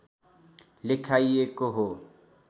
लेखाइएको हो